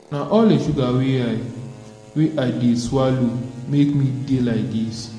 na all the sugar wey i wey i dey swallow make me dey like dis